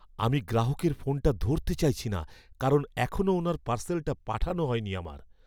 আমি গ্রাহকের ফোনটা ধরতে চাইছি না কারণ এখনও ওনার পার্সেলটা পাঠানো হয়নি আমার।